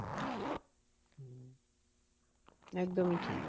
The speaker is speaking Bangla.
একদমই ঠিক,